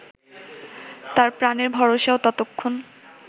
তার প্রাণের ভরসাও ততক্ষণ